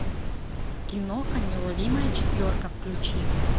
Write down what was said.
киноха неуловимая четверка включи